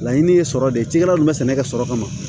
Laɲini ye sɔrɔ de ye cikɛla dun bɛ sɛnɛkɛ sɔrɔ kama